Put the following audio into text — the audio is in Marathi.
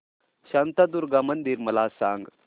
शांतादुर्गा मंदिर मला सांग